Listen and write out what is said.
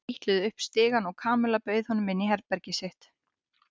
Þau trítluðu upp stigann og Kamilla bauð honum inn í herbergið sitt.